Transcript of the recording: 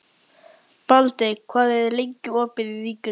Baldey, hvað er lengi opið í Ríkinu?